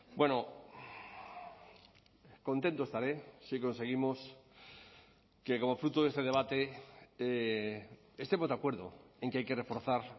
bueno contento estaré si conseguimos que como fruto de este debate estemos de acuerdo en que hay que reforzar